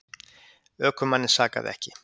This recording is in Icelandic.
Ökumanninn sakaði ekki